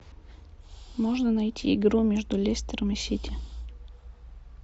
можно найти игру между лестером и сити